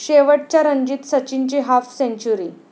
शेवटच्या रणजीत सचिनची हाफ सेंचुरी